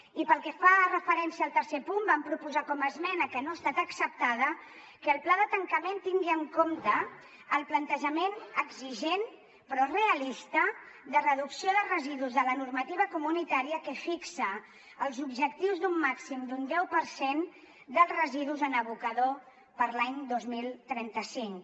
i pel que fa referència al tercer punt vam proposar com a esmena que no ha estat acceptada que el pla de tancament tingui en compte el plantejament exigent però realista de reducció de residus de la normativa comunitària que fixa els objectius d’un màxim d’un deu per cent dels residus en abocador per a l’any dos mil trenta cinc